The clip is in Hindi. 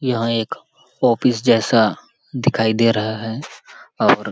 यहाँ एक ऑफिस जैसा दिखाई दे रहा है और --